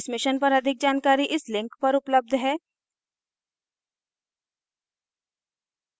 इस mission पर अधिक जानकारी इस लिंक पर उपलब्ध है